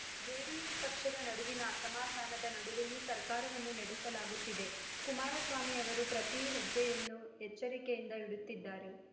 JDS ಪಕ್ಷದ ನಡುವಿನ ಅಸಮಾಧಾನದ ನಡುವೆಯೂ ಸರ್ಕಾರವನ್ನು ನಡೆಸಲಾಗುತ್ತಿದೆ ಕುಮಾರಸ್ವಾಮಿ ಅವರು ಪ್ರತಿ ಹೆಜ್ಜೆಯನ್ನು ಎಚ್ಚರಿಕೆಯಿಂದ ಇಡುತ್ತಿದ್ದಾರೆ